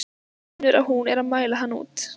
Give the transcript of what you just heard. Finnur að hún er að mæla hann út.